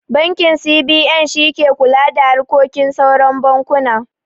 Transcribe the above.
Bankin C.B.N shi ke kula da harkokin sauran bankuna